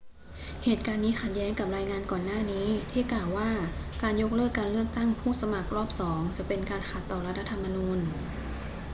เหตุการณ์นี้ขัดแย้งกับรายงานก่อนหน้านี้ที่กล่าวว่าการยกเลิกการเลือกตั้งผู้สมัครรอบสองจะเป็นการขัดต่อรัฐธรรมนูญ